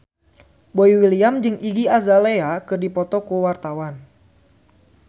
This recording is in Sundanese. Boy William jeung Iggy Azalea keur dipoto ku wartawan